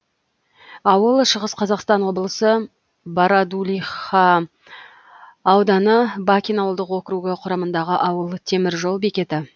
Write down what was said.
ауыл шығыс қазақстан облысы бородулиха ауданы бакин ауылдық округі құрамындағы ауыл темір жол бекеті